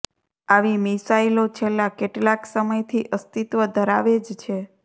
આવી મિસાઈલો છેલ્લા કેટલાંક સમયથી અસ્તિત્વ ધરાવે જ છે